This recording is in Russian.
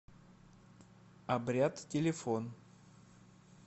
обряд телефон